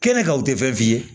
Kɛnɛ kan u tɛ fɛn f'i ye